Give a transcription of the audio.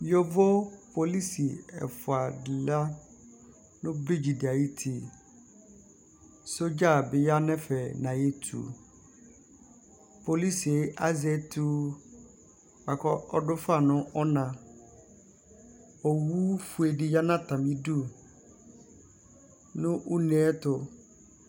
yovo polisi ɛfuadiya nu predzidiayuti sdzamiya nɛfɛ ɑyuti polisi ɑzetuɑkɔ ɔdufɑ nu ɔnɑ owufue diyɑnatamidu nu unɛtu